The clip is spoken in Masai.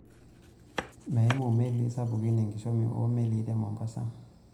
Meimu melii sapukinn enkishomi oo melii te mombasa.